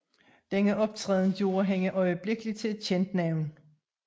Denne optræden gjorde hende øjeblikkelig til et kendt navn